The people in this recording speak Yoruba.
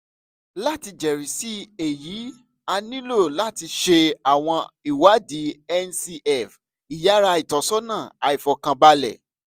lati jẹrisi eyi a nilo lati ṣe awọn iwadi ncv iyara itọsọna aifọkanbalẹ